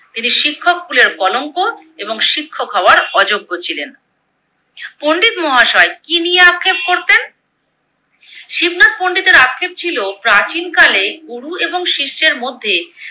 তিনি শিক্ষক কুলের কলঙ্ক এবং শিক্ষক হওয়ার অযোগ্য ছিলেন। পন্ডিত মহাশয় কি নিয়ে আক্ষেপ করতেন? শিবনাথ পন্ডিতের আক্ষেপ ছিলো প্রাচীন কালে গুরু এবং শিষ্যের মধ্যে